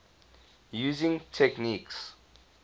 using techniques